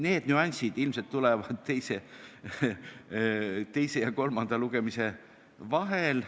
Need nüansid ilmselt tulevad teise ja kolmanda lugemise vahel.